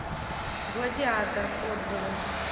гладиатор отзывы